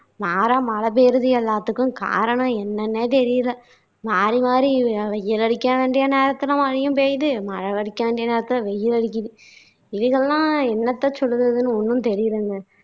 மாறா மழை பெய்யுறது எல்லாத்துக்கும் காரணம் என்னன்னே தெரியல மாறி மாறி வெ வெயில் அடிக்க வேண்டிய நேரத்துல மழையும் பெய்யுது மழை அடிக்க வேண்டிய நேரத்துல வெயில் அடிக்கிது. என்னத்தை சொல்றதுன்னு ஒண்ணும் தெரியலங்க